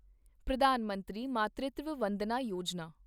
ਪ੍ਰਧਾਨ ਮੰਤਰੀ ਮਾਤ੍ਰਿਤਵ ਵੰਦਨਾ ਯੋਜਨਾ